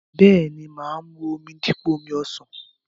Bẹ́ẹ̀ni, mà á mu omi dípò omi ọsàn.